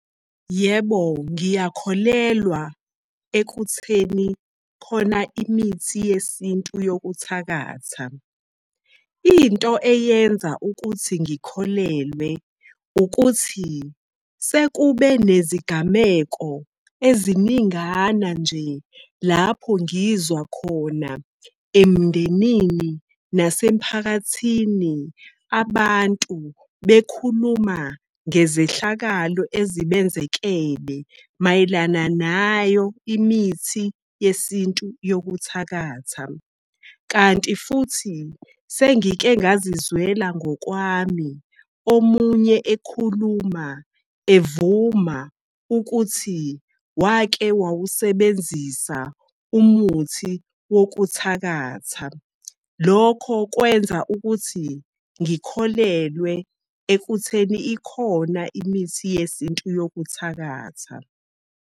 Yebo, ngiyakholelwa ekutheni khona imithi yesintu yokuthakatha. Into eyenza ukuthi ngikholelwe, ukuthi sekube nezigameko eziningana nje lapho ngizwa khona emndenini nasemiphakathini abantu bekhuluma ngezehlakalo ezibenzekele mayelana nayo imithi yesintu yokuthakatha. Kanti futhi, sengike ngazizwela ngokwami omunye ekhuluma evuma ukuthi wake wawusebenzisa umuthi wokuthakatha. Lokho kwenza ukuthi ngikholelwe ekutheni ikhona imithi yesintu yokuthakatha.